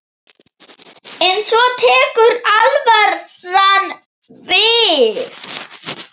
En svo tekur alvaran við.